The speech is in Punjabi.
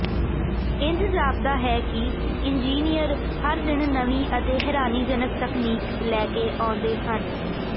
ਇੰਜ ਜਾਪਦਾ ਹੈ ਕਿ ਇੰਜੀਨੀਅਰ ਹਰ ਦਿਨ ਨਵੀਂ ਅਤੇ ਹੈਰਾਨੀਜਨਕ ਤਕਨੀਕ ਲੈ ਕੇ ਆਉਂਦੇ ਹਨ